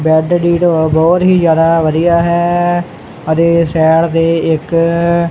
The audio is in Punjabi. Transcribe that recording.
ਬੈਡ ਦੀ ਢੋ ਬਹੁਤ ਹੀ ਜਿਆਦਾ ਵਧੀਆ ਹੈ ਅਤੇ ਸੈਡ ਤੇ ਇੱਕ --